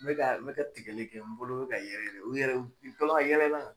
N bɛ n bɛ ka tigɛli kɛ n bolo bɛ ka yɛrɛyɛrɛ u yɛrɛ u to la ka yɛlɛ n na.